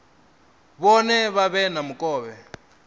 vhone vha vhe na mukovhe